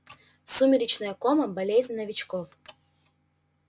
сумеречная кома болезнь новичков